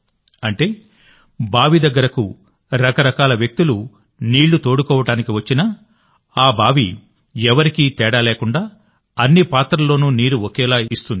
అంటేబావి దగ్గరకు రకరకాల వ్యక్తులు నీళ్లు తోడుకోవడానికి వచ్చినాఆ బావి ఎవరికీ తేడా లేకుండాఅన్ని పాత్రల్లోనూ నీరు ఒకేలా ఉంటుంది